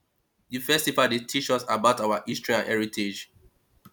di festival dey teach us about our history and heritage